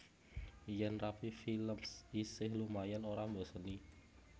Yen Rapi Films isih lumayan ora mboseni